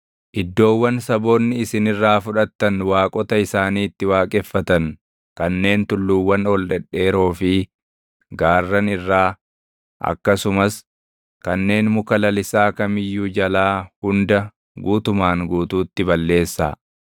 Iddoowwan saboonni isin irraa fudhattan waaqota isaanii itti waaqeffatan kanneen tulluuwwan ol dhedheeroo fi gaarran irraa, akkasumas kanneen muka lalisaa kam iyyuu jalaa hunda guutumaan guutuutti balleessaa;